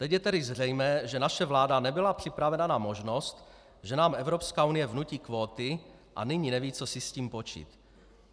Teď je tedy zřejmé, že naše vláda nebyla připravena na možnost, že nám Evropská unie vnutí kvóty, a nyní neví, co si s tím počít.